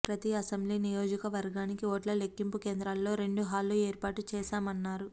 ప్రతి అసెంబ్లీ నియోజకవర్గానికి ఓట్ల లెక్కింపు కేంద్రాల్లో రెండు హాళ్లు ఏర్పాటు చేశామన్నారు